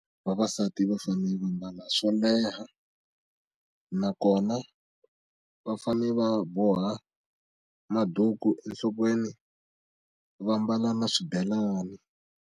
Vavasati va fane va mbala swo leha na kona va fane va boha maduku enhlokweni va mbala na swibelani.